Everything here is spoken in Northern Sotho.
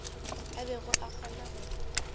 a bego a kgona go